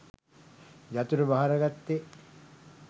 යතුර භාරගත්තෙ?